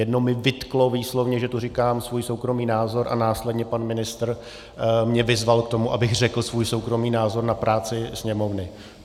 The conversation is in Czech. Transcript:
Jedno mi vytklo výslovně, že tu říkám svůj soukromý názor, a následně pan ministr mě vyzval k tomu, abych řekl svůj soukromý názor na práci Sněmovny.